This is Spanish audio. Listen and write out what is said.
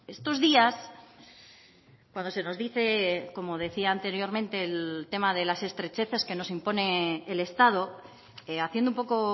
estos días cuando se nos dice como decía anteriormente el tema de las estrecheces que nos impone el estado haciendo un poco